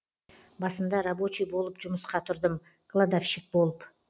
басында рабочий болып жұмысқа тұрдым кладовщик болып